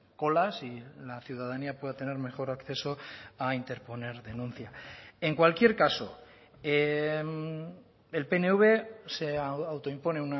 colas y la ciudadanía pueda tener mejor acceso a interponer denuncia en cualquier caso el pnv se autoimpone